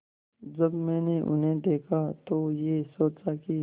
जब मैंने उन्हें देखा तो ये सोचा कि